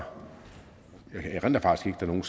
der nogen